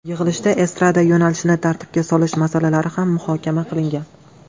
Yig‘ilishda estrada yo‘nalishini tartibga solish masalalari ham muhokama qilingan.